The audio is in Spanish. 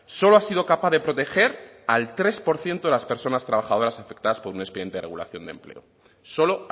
solo ha sido capaz de proteger al tres por ciento de las personas trabajadoras afectadas por un expediente de regulación de empleo solo